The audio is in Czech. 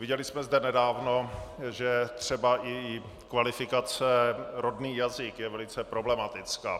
Viděli jsme zde nedávno, že třeba i kvalifikace rodný jazyk je velice problematická.